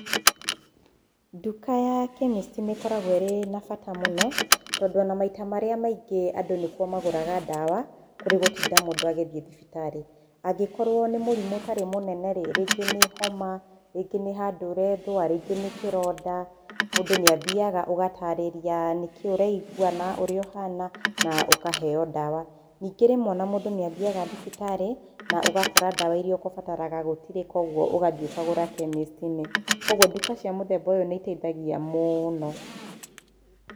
Nduka ya chemist nĩ ĩkoragwo ĩrĩ na bata mũno, tondũ o na maita marĩa maingĩ andũ nĩ kuo magũraga ndawa kũrĩ gũtinda mũndũ agĩthiĩ thibitarĩ. Angĩkorwo nĩ mũrimũ ũtarĩ mũnene rĩ, rĩngĩ nĩ homa, rĩngĩ nĩ handũ ũreethũa, rĩngĩ nĩ kĩronda, mũndũ nĩ athiaga, ũgatarĩria nĩ kĩĩ ũraigwa na ũrĩa ũhana, na ũkaheo ndawa. Ningĩ rĩmwe o na mũndũ nĩ athiaga thibitarĩ na ũgakora ndawa iria ũkũbataraga gũtirĩ, kwoguo ũgathiĩ ũkagũra chemist -inĩ. Kwoguo nduka cia mũthemba ũyũ nĩ iteithagia mũno.